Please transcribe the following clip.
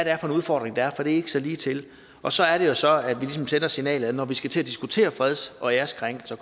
er for en udfordring der er for det er ikke så ligetil og så er det jo så at vi ligesom sender signalet om at når vi skal til at diskutere freds og æreskrænkelser